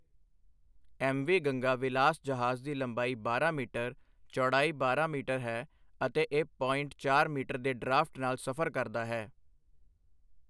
MV Ganga Vilas ਜਹਾਜ਼ ਦੀ ਲੰਬਾਈ ਬਾਰਹ ਮੀਟਰ, ਚੌੜਾਈ ਬਾਰਾਂ ਮੀਟਰ ਹੈ ਅਤੇ ਇੱਕ ਪੋਇੰਟ ਚਾਰ ਮੀਟਰ ਦੇ ਡਰਾਫਟ ਨਾਲ ਸਫ਼ਰ ਕਰਦਾ ਹੈ।